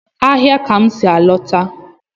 Ahịa ka m si a lọta.